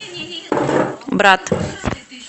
брат